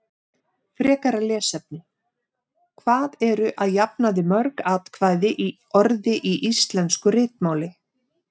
Frekara lesefni: Hvað eru að jafnaði mörg atkvæði í orði í íslensku ritmáli?